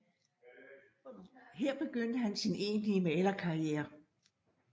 Her begyndte han sin egentlige malerkarriere